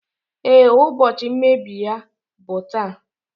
Ee, ụbọchị mmebi ya bụ taa